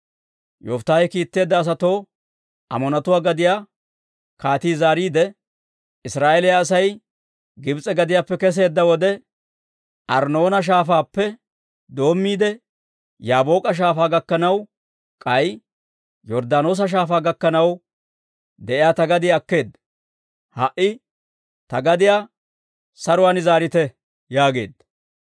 Yofittaahe kiitteedda asatoo Amoonatuwaa gadiyaa kaatii zaariide, «Israa'eeliyaa Asay Gibs'e gadiyaappe kesseedda wode, Arnnoona Shaafaappe doommiide, Yaabook'a Shaafaa gakkanaw, k'ay Yorddaanoosa Shaafaa gakkanaw de'iyaa ta gadiyaa akkeedda. Ha"i ta gadiyaa saruwaan zaarite» yaageedda.